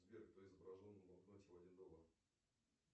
сбер кто изображен на банкноте в один доллар